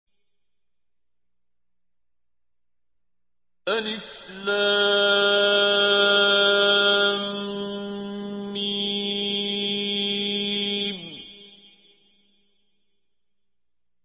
الم